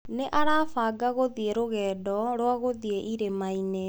Nĩ arabanga gũthiĩ rũgendo rwa gũthiĩ irĩma-inĩ.